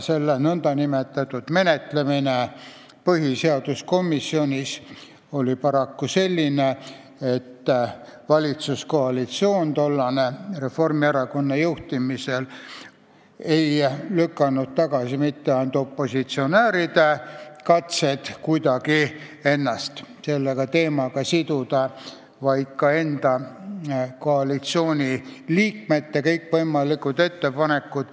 Selle eelnõu nn menetlemine põhiseaduskomisjonis oli paraku selline, et tollane valitsuskoalitsioon – Reformierakonna juhtimisel – ei lükanud tagasi mitte ainult opositsionääride katseid kuidagi ennast selle teemaga siduda, vaid ka enda koalitsiooniliikmete kõikvõimalikud ettepanekud.